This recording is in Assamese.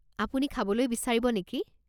আপুনি খাবলৈ বিচাৰিব নেকি?